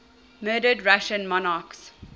murdered russian monarchs